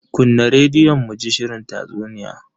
Kunna rediyon muji shirin tatsuniya.